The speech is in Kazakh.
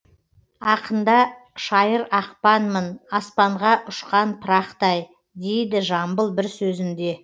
ақында шайыр ақпанмын аспанға үшқан пырақтай дейді жамбыл бір сөзінде